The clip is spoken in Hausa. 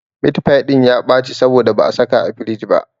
Mitfai ɗin ya ɓaci saboda ba a saka a firij ba.